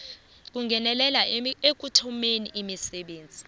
kungenelela ekuthomeni misebenzi